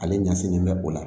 Ale ɲɛsinnen bɛ o la